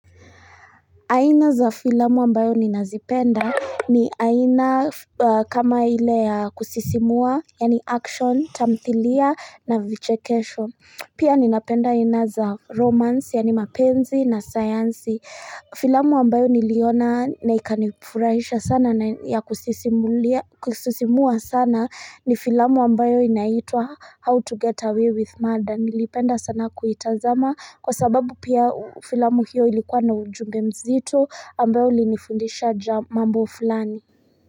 Aina za filamu ambayo ninazipenda ni aina kama ile ya kusisimua, yaani action, tamthilia na vichekesho. Pia ninapenda aina za romance, yaani mapenzi na sayansi. Filamu ambayo niliona na ikanifurahisha sana na ya kusisimua sana ni filamu ambayo inaitwa, How to Get Away with Murder. Nilipenda sana kuitazama kwa sababu pia filamu hiyo ilikuwa na ujumbe mzito ambayo ilinifundisha ja mambo fulani.